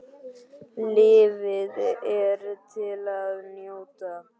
Lífið er til að njóta.